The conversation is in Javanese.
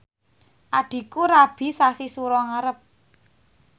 adhiku rabi sasi Sura ngarep